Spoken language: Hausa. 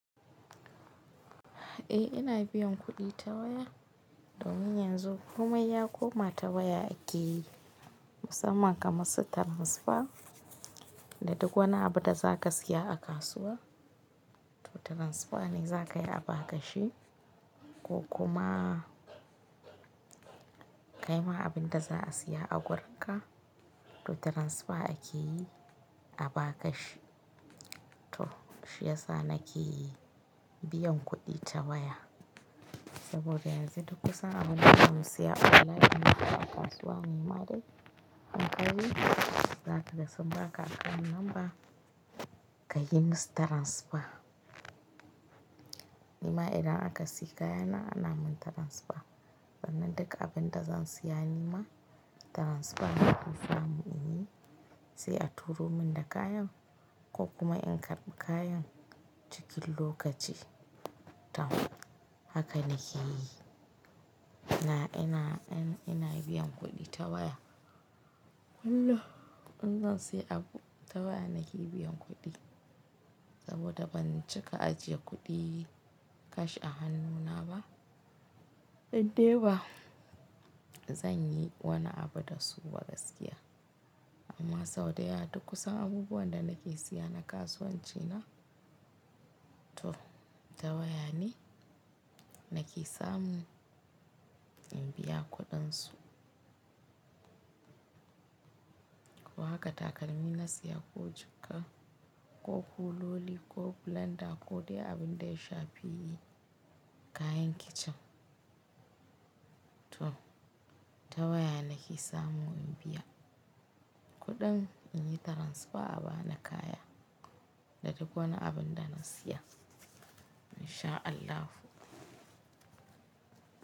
Eh ina biyan kuɗi ta waya domin yanzu komai ya koma ta waya ake yi musamman kamar sita transfer da duk wani abu da za ka siya a kasuwa ta transfer ne za ka yi a ba ka shi ko kuma kai ma abin da za a siya a wurin ka, to transfer ake yi a ba ka shi. To shi ya sa na ke yi biyan kuɗi ta waya saboda yanzu duk wani abu da zan siya online ko a kasuwa nimare hankali za ka gasu ba ka aka number ka yi musu transfer. Nima idan aka siya kayana ana min transfer. Sannan duka abin da zan siya nima transfer na ku fa mu yi shi. Sai a turo min da kayan ko kuma in karɓi kayan ciki lokaci ta haka na ke yi. Na ina ina biyan kuɗi ta waya. Kullum! Kullum in zan siya abu ta waya na ke biyan kuɗi saboda ban cika ajiye kuɗi cash a hannu na ba. Ban dai ba zan yi wani abu da su ba gaskiya. Amma sau daya duk kusan wani abu wanda na ke siya na kasuwanci na to ta waya ne na ke samu in biya kuɗin su. Ko haka takalmi na siya ko jukka ko kuloli ko blender ko dai abin da ya sha fi'i kayan kicin to ta waya na ke samu in biya kuɗin in yi transfer a ba na kaya da duk wani abin da na siya. In sha Allah.